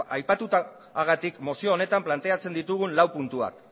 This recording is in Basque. aipatutakoagatik mozio honetan planteatzen ditugu lau puntuak